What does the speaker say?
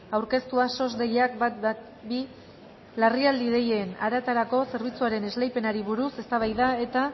aurkeztua sos deiakminus ehun eta hamabi larrialdi deien arretarako zerbitzuaren esleipenari buruz eztabaida eta